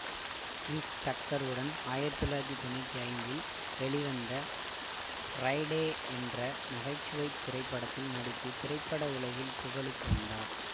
Girish Tucker உடன் ஆயிரத்தி தொள்ளாயிரத்தி தொன்னூற்தி ஐந்தில் வெளிவந்த ஃபிரைடே என்ற நகை சுவை திரைப்படத்தில் நடித்து திரைப்பட உலகில் புகழுக்கு வந்தார்